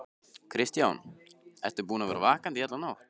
Kristján: Ertu búinn að vera vakandi í alla nótt?